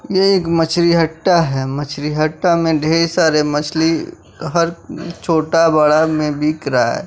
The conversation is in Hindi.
ये एक मछरी हट्टा है मछरी हट्टा में ढेर सारे मछली हर छोटा बड़ा में बिक रहा--